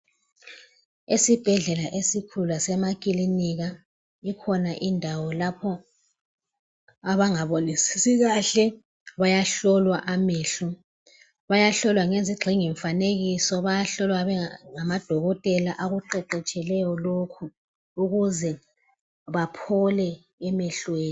Esibhedlela esikhulu lasemakilinika kukhona indawa lapho abangabonisisi kahle bayahlolwa amehlo .Bayahlola ngezigxingimfanekiso bayahlola ngamadokotela aqeqetshileyo ukuze baphole emehlweni.